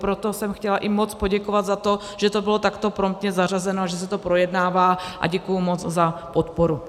Proto jsem chtěla i moc poděkovat za to, že to bylo takto promptně zařazeno a že se to projednává, a děkuji moc za podporu.